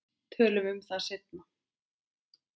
Tölum um það seinna.